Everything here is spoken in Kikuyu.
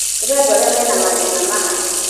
kũrĩ andũ arĩa meana mathĩna ma hakiri.